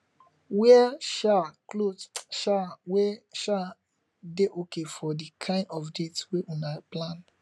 wear um cloth um wey um dey okay for di kind of date wey una plan